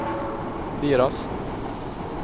deras